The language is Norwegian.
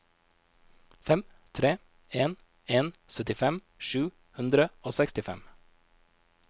fem tre en en syttifem sju hundre og sekstifem